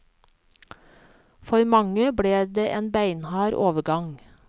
For mange ble det en beinhard overgang.